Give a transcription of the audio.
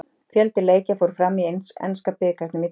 Fjöldi leikja fór fram í enska bikarnum í dag.